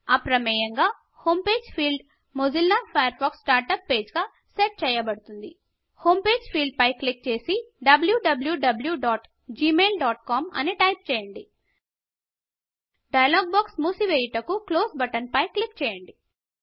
అప్రమేయంగా home page field Mozilla Firefox start page గా set చేయబడింది home page home page field పై click చేసి wwwgmailcom అని టైప్ చేయండి డైలాగ్ బాక్స్ మూసి వేయుటకు క్లోజ్ బటన్పైపై క్లిక్ చేయండి